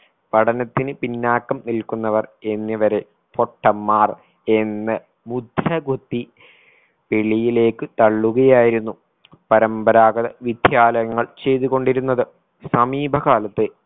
പഠനത്തിന് പിന്നാക്കം നിൽക്കുന്നവർ എന്നിവരെ പൊട്ടന്മാർ എന്ന് മുദ്രകുത്തി വെളിയിലേക്ക് തള്ളുകയായിരുന്നു പരമ്പരാഗത വിദ്യാലയങ്ങൾ ചെയ്തുകൊണ്ടിരുന്നത് സമീപ കാലത്ത്